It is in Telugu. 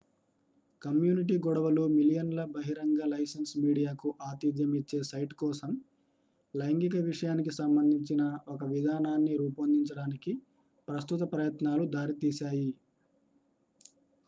కమ్యూనిటీ గొడవలు మిలియన్ల బహిరంగ లైసెన్స్ మీడియాకు ఆతిధ్యం ఇచ్చే సైట్ కోసం లైంగిక విషయానికి సంబంధించిన ఒక విధానాన్ని రూపొందించడానికి ప్రస్తుత ప్రయత్నాలు దారి తీసాయి